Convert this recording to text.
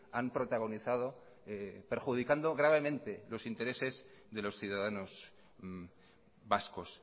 han protagonizado perjudicando gravemente los intereses de los ciudadanos vascos